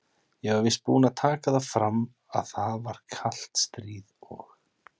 Ég var víst búinn að taka það fram, að það var kalt stríð og